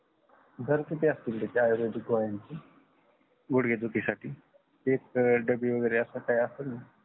दर किती असतील त्या आयुर्वेदिक गोळ्यांची गुडगे दुखीसाठी एक डब्बी वगेरे असे काही असेल ण